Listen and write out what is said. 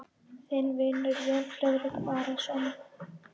Þinn vinur, Jón Friðrik Arason.